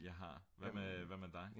jeg har hvad med dig